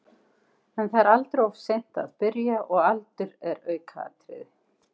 En það er aldrei of seint að byrja og aldur er aukaatriði.